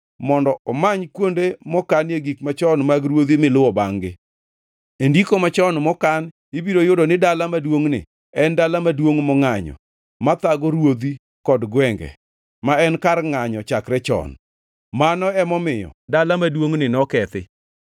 mondo omany kuonde mokanie gik machon mag ruodhi miluwo bangʼ-gi. E ndiko machon mokan ibiro yudo ni dala maduongʼni en dala maduongʼ mangʼanyo, ma thago ruodhi kod gwenge, ma en kar ngʼanyo chakre chon. Mano emomiyo dala maduongʼni nokethi.